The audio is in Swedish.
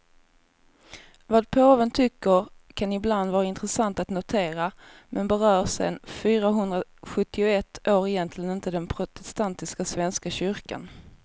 Vad påven tycker kan ibland vara intressant att notera, men berör sen fyrahundrasjuttioett år egentligen inte den protestantiska svenska kyrkan.